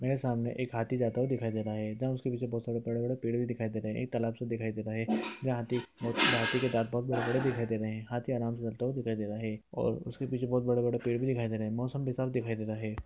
मेरे सामने एक हाथी जाता हुआ दिखाई दे रहा है जहाँ उसके पीछे बहुत सारे बड़े-बड़े पेड़ दिखाई दे रहे हैं| एक तालाब सब दिखाई दे रहा है जहाँ हाथी हाथी के दांत बहुत बड़े-बड़े दिखाई दे रहे हैं| हाथी आराम से चलता हुआ दिखाई दे रहा है और उसके पीछे बहुत बड़े-बड़े पेड़ भी दिखाई दे रहे हैं मौसम भी साफ दिखाई दे रहा है।